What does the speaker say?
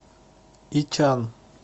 ичан